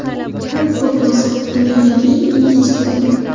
Kun fotosi: Dunyodagi eng ingichka uy.